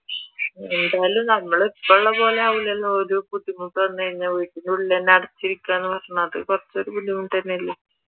എന്തായാലും നമ്മൾ ഇപ്പ ഉള്ള പോലെ ആവൂലല്ലോ ഒരു ബുദ്ധിമുട്ട് വന്നുകഴിഞ്ഞാൽ വീട്ടിനുള്ളിൽ തന്നെ അടച്ചിരിക്കാന്ന് പറഞ്ഞാൽ അത് കുറച്ചൊരു ബുദ്ധിമുട്ട് തന്നെ അല്ലെ?